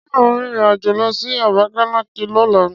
Ṣé ò ń rìnrìn àjò lọ sí Abakaliki lọ́la?